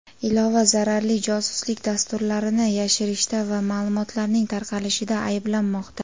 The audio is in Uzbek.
ilova zararli josuslik dasturlarini yashirishda va ma’lumotlarning tarqalishida ayblanmoqda.